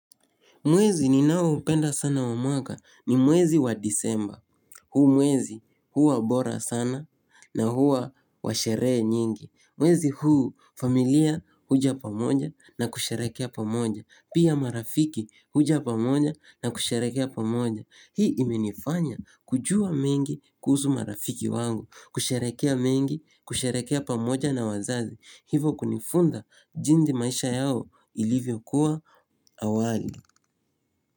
Mwezi ni nao upenda sana wa mwaka ni mwezi wa disemba. Huu mwezi huwa bora sana na huwa washeree nyingi. Mwezi huu familia huja pamoja na kusherekea pamoja. Pia marafiki huja pamoja na kusherekea pamoja. Hii imenifanya kujua mengi kuhusu marafiki wangu. Kusherekea mengi, kusherekea pamoja na wazazi. Hivo kunifunza jinsi maisha yao ilivyo kuwa awali.